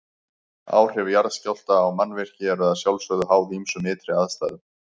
Áhrif jarðskjálfta á mannvirki eru að sjálfsögðu háð ýmsum ytri aðstæðum.